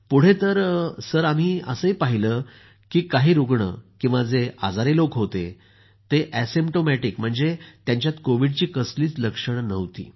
पुढे तर आम्ही पाहिलं की काही रूग्ण किंवा जे आजारी लोक होते ते असिम्प्टोमॅटिक म्हणजे त्यांच्यात कोविडची कसलीच लक्षणं नव्हती